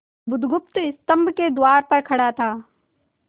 बुधगुप्त स्तंभ के द्वार पर खड़ा था